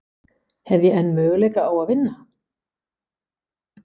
Hef ég enn möguleika á að vinna?